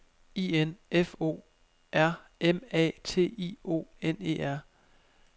I N F O R M A T I O N E R